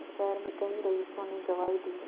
शहर में कई रईसों ने गवाही दी